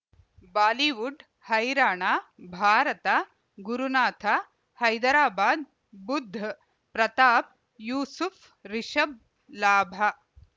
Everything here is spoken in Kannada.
ಬಾಲಿವುಡ್ ಹೈರಾಣ ಭಾರತ ಗುರುನಾಥ ಹೈದರಾಬಾದ್ ಬುಧ್ ಪ್ರತಾಪ್ ಯೂಸುಫ್ ರಿಷಬ್ ಲಾಭ